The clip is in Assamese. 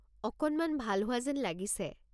অকণমান ভাল হোৱা যেন লাগিছে।